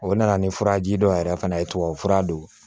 O nana ni furaji dɔ yɛrɛ fana ye tubabufura don